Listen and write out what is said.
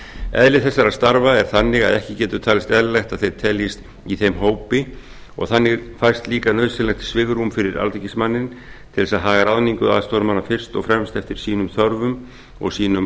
eðli þessara starfa er þannig að ekki getur talist eðlilegt að þeir teljist í þeim hópi og þannig fæst líka nauðsynlegt svigrúm fyrir alþingismanninn til þess að haga ráðningu aðstoðarmann fyrst og fremst eftir sínum þörfum og sínum